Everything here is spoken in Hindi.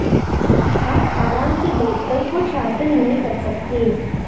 आप आराम से बैठकर कुछ हासिल नहीं कर सकते